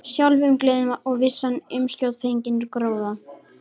Sjálfumgleðin og vissan um skjótfenginn gróða.